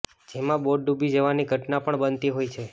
જેમાં બોટ ડુબી જવાની ઘટના પણ બનતી હોય છે